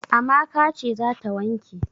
Amaka ce za ta wanke.